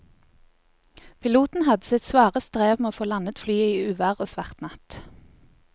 Piloten hadde sitt svare strev med å få landet flyet i uvær og svart natt.